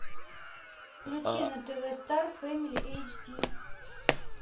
включи на тв стар фэмили эйч ди